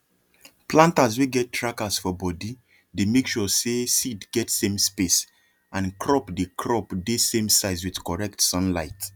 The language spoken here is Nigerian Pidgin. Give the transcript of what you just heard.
planters wey get trackers for body dey make sure say seed get same space and crop dey crop dey same size with correct sunlight